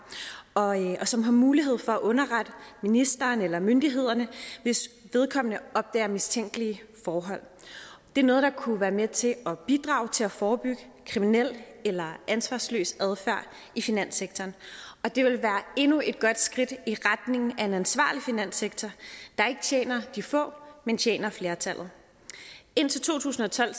og som har mulighed for at underrette ministeren eller myndighederne hvis vedkommende opdager mistænkelige forhold det er noget der kunne være med til at bidrage til at forebygge kriminel eller ansvarsløs adfærd i finanssektoren og det vil være endnu et godt skridt i retning af en ansvarlig finanssektor der ikke tjener de få men tjener flertallet indtil to tusind og tolv